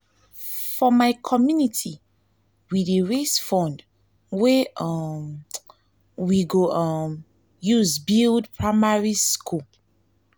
for my community we dey raise fund wey um we go um use build primary school.